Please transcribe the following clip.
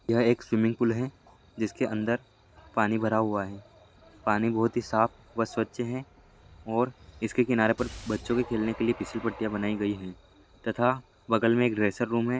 यह एक स्विमीपुल है जिसके अंदर पानी भरा हुआ है पानी बहुत ही साफ़ व् स्वच्छ है और इसके किनारें पर बच्चों के खेलने के लिए पिस्सी पट्टी या बनाई गयी है तथा बगल में एक ड्रेसर रूम है।